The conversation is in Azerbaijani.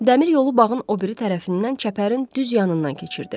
Dəmir yolu bağın o biri tərəfindən çəpərin düz yanından keçirdi.